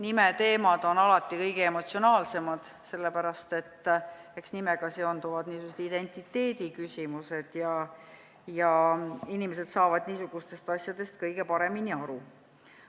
Nimeteemad on alati kõige emotsionaalsemad, sest eks nimega seonduvad identiteediküsimused ja inimesed saavad niisugustest asjadest kõige paremini aru.